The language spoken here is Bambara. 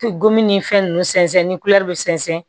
Gomin ni fɛn nunnu sɛnsɛn ni kulɛri be sɛnsɛn